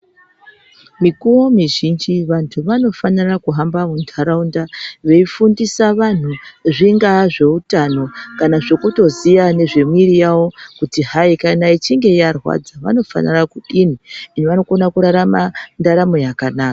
Mikuwo mizhinji vanhu vanofanira kuhamba muntaraunda veifundisa vanhu zvingaa zveutano kana zvekutoziya nezve miiri yavo kuti hai kana ichinge yarwadza vanofanira kudini, vanokona kurarama ndaramo yakanaka.